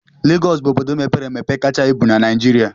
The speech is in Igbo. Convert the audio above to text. Legọs bụ obodo mepere emepe kacha ibu na Naịjirịa